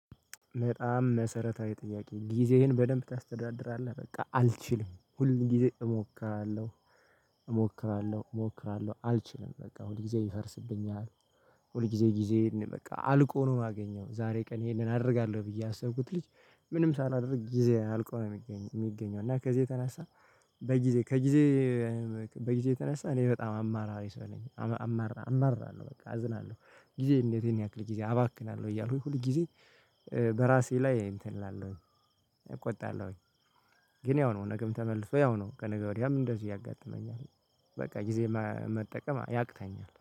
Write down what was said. በጣም መሰረታዊ ጥያቄ ጊዜህን በደንብ ታስተዳድራለህ በቃ አልችልም ሁል ጊዜ እሞክራለሁ። እሞክራለሁ እሞክራለሁ አልችልም በቃ ሁል ጊዜ ይፈርስብኛል። ሁል ጊዜ ጊዜ በቃ አልቆ ነው የማገኘው ዛሬ ቀን ይሄንን አደርጋለሁ ብዬ ያሰብኩት ልጅ። ምንም ሳላደርግ ጊዜ አልቆ ነው የሚገኘው እና ከዚህ የተነሳ። በጊዜ ከጊዜ በጊዜ የተነሳ እኔ በጣም አማራሪ ሰለኝ አማራ አማራ አማራ ነው በቃ አዝናለሁ። ጊዜ እንዴት ያክል ጊዜ አባክናለሁ? እያሉ ሁል ጊዜ። በራሴ ላይ እንትን እላለሁኝ። እቆጣለሁኝ። ግን ያው ነው ነገም ተመልሶ ያው ነው ከነገ ወዲያም እንደዚህ ያጋጥመኛል። በቃ ጊዜ መጠቀም ያቅታኛል